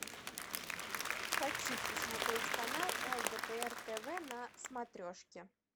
хочу посмотреть канал лдпр тв на смотрешке